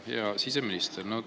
Hea siseminister!